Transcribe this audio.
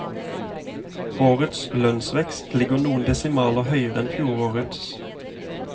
Årets lønnsvekst ligger noen desimaler høyere enn fjorårets.